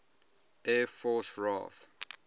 air force raaf